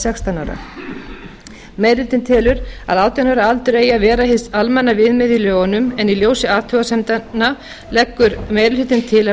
sextán ára meiri hlutinn telur að átján ára aldur eigi að vera hið almenna viðmið í lögunum en í ljósi athugasemdanna leggur meiri hlutinn til að